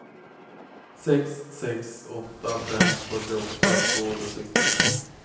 sex sex åtta fem fyrtioåtta tvåhundrasextionio